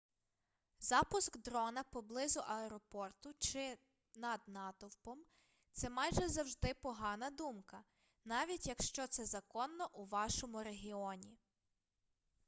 запуск дрона поблизу аеропорту чи над натовпом це майже завжди погана думка навіть якщо це законно у вашому регіоні